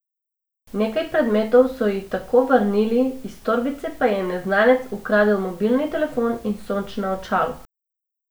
Nekaj predmetov so ji tako vrnili, iz torbice pa je neznanec ukradel mobilni telefon in sončna očala.